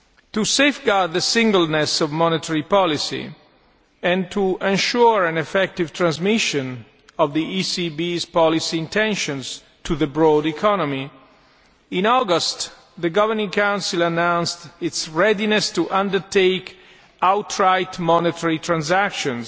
To safeguard the singleness of monetary policy and to ensure an effective transmission of the ECB's policy intentions to the broad economy, in August the Governing Council announced its readiness to undertake outright monetary transactions,